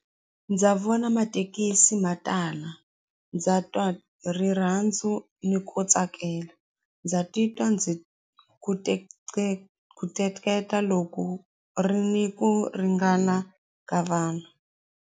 Ndza vona mathekisi ma tala ndza twa rirhandzu ni ku tsakela ndza titwa ndzi ku loko ku ri ni ku ringana ka vanhu.